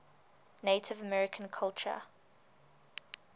native american culture